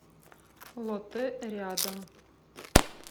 лотте рядом